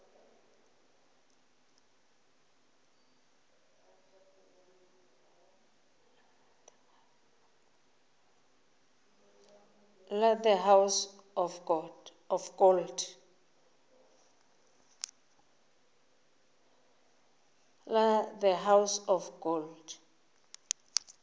la the house of gold